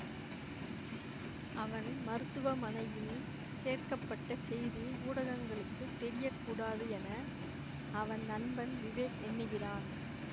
அவன் மருத்துவமனையில் சேர்க்க பட்ட செய்தி ஊடகங்களுக்கு தெரியக்கூடாது என அவன் நண்பன் விவேக் எண்ணுகிறான்